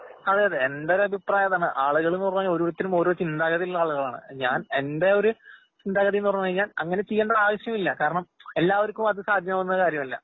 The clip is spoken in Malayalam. അതേയതെ. എന്റൊരഭിപ്രായതാണ്. ആളുകള്പുറമേ ഓരോരുത്തരും ഓരോ ചിന്താഗതിയിലുള്ളആളുകളാണ്. ഞാൻ എന്റെയൊരു ചിന്താഗതിയെന്ന്പറഞ്ഞുകഴിഞ്ഞാൽ അങ്ങനെചെയ്യേണ്ടൊരാവശ്യവില്ല. കാരണം എല്ലാവർക്കും അതുസാധ്യമാവുന്നകാര്യമല്ല.